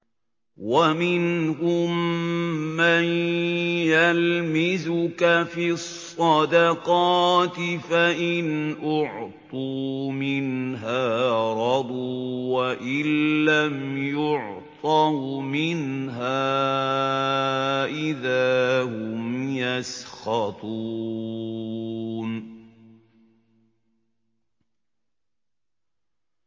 وَمِنْهُم مَّن يَلْمِزُكَ فِي الصَّدَقَاتِ فَإِنْ أُعْطُوا مِنْهَا رَضُوا وَإِن لَّمْ يُعْطَوْا مِنْهَا إِذَا هُمْ يَسْخَطُونَ